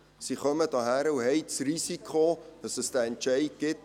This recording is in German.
Sie kommen zu uns und haben das Risiko, dass es diesen Entscheid gibt;